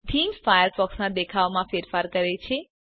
theme ફાયરફોક્સના દેખાવમાં ફેરફારો કરે છે